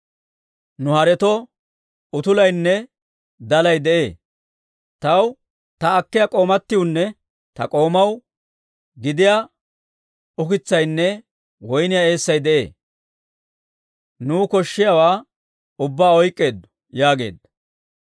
Nu haretoo utulaynne dalay de'ee; taw, ta akkiyaa k'oomatiwunne ta k'oomaw gidiyaa ukitsaynne woyniyaa eessay de'ee; nuu koshshiyaawaa ubbaa oyk'k'eeddo» yaageedda.